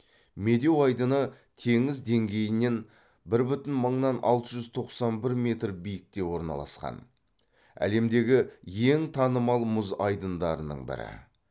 медеу айдыны теңіз деңгейінен бір бүтін мыннан алты жүз тоқсан бір метр биікте орналасқан әлемдегі ең танымал мұз айдындарының бірі